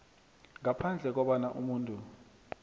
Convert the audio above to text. ngaphandle kobana umuntu